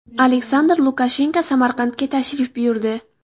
Aleksandr Lukashenko Samarqandga tashrif buyurdi.